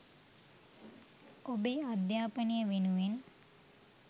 ඔබේ අධ්‍යාපනය වෙනුවෙන්